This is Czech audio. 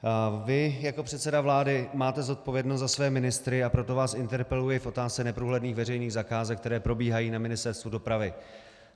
Vy, jako předseda vlády máte zodpovědnost za své ministry, a proto vás interpeluji v otázce neprůhledných veřejných zakázek, které probíhají na Ministerstvu dopravy.